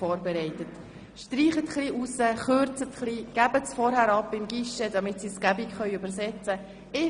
Streichen Sie ein bisschen heraus, kürzen Sie, geben Sie die Voten vorher im Guichet ab, damit diese an die Übersetzerinnen weitergeleitet werden können.